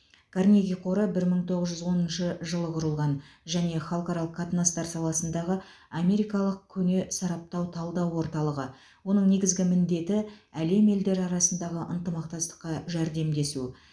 карнеги қоры бір мың тоғыз жүз оныншы жылы құрылған және халықаралық қатынастар саласындағы америкалық көне сараптау талдау орталығы оның негізгі міндеті әлем елдері арасындағы ынтымақтастыққа жәрдемдесу